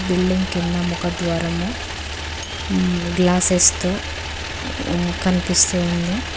Building కింద ముఖద్వారము హ్మ్మ్ గ్లాస్సెస్ తో హ్మ్మ్ కనిపిస్తుంది.